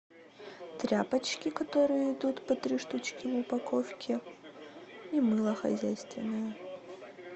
тряпочки которые идут по три штучки в упаковке и мыло хозяйственное